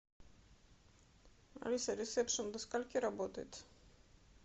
алиса ресепшен до скольки работает